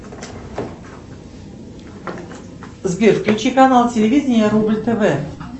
сбер включи канал телевидения рубль тв